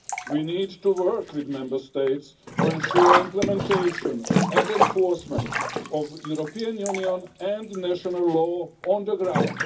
We need to work with Member States to ensure implementation and enforcement of European Union and national law on the ground.